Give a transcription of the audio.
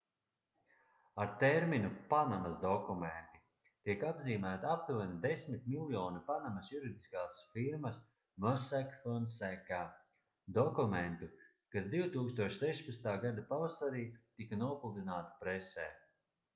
ar terminu panamas dokumenti tiek apzīmēti aptuveni desmit miljoni panamas juridiskās firmas mossack fonseca dokumentu kas 2016. gada pavasarī tika nopludināti presē